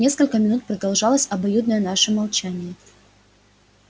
несколько минут продолжалось обоюдное наше молчание